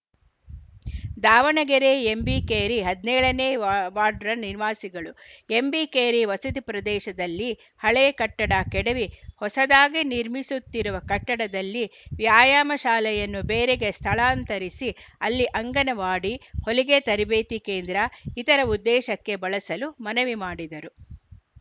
Davanagere MB Keri ಹದಿನೇಳ ನೇ ward ನಿವಾಸಿಗಳು ಎಂಬಿ ಕೇರಿ ವಸತಿ ಪ್ರದೇಶದಲ್ಲಿ ಹಳೆ ಕಟ್ಟಡ ಕೆಡವಿ ಹೊಸದಾಗಿ ನಿರ್ಮಿಸುತ್ತಿರುವ ಕಟ್ಟಡದಲ್ಲಿನ ವ್ಯಾಯಾಮ ಶಾಲೆಯನ್ನು ಬೇರೆಗೆ ಸ್ಥಳಾಂತರಿಸಿ ಅಲ್ಲಿ ಅಂಗನವಾಡಿ ಹೊಲಿಗೆ ತರಬೇತಿ ಕೇಂದ್ರ ಇತರ ಉದ್ದೇಶಕ್ಕೆ ಬಳಸಲು ಮನವಿ ಮಾಡಿದರು